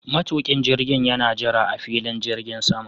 Matuƙin jirgin yana jira a filin jirgin saman.